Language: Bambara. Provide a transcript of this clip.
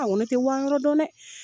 Awɔ ne tɛ Wan yɔrɔ dɔn dɛ!